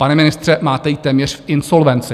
Pane ministře, máte ji téměř v insolvenci.